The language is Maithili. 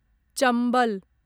चम्बल